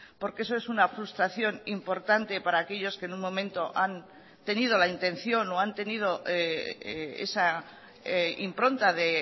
porque eso es una frustración importante para aquellos que en un momento han tenido la intención o han tenido esa impronta de